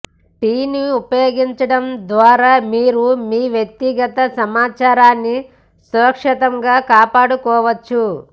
టిని ఉపయోగించడం ద్వారా మీరు మీ వ్యక్తిగత సమాచారాన్ని సురక్షితంగా కాపాడుకోవచ్చు